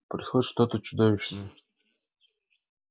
происходит что-то чудовищное